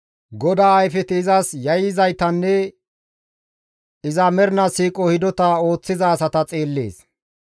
GODAA ayfeti izas yayyizaytanne iza mernaa siiqo hidota ooththiza asata xeellees.